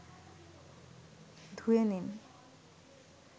ধুয়ে নিন